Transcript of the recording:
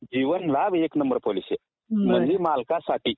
जीवनलाभ एक number policy आहे, म्हणजे मालकांसाठी